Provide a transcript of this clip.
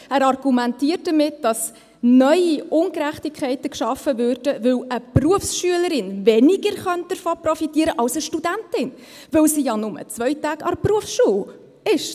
Er argumentiert damit, dass neue Ungerechtigkeiten geschaffen würden, weil eine Berufsschülerin weniger davon profitieren könnte, als eine Studentin, weil sie zum Beispiel ja nur 2 Ta– ge an der Berufsschule ist.